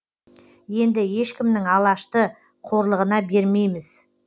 енді ешкімнің алашты қорлығына бермейміз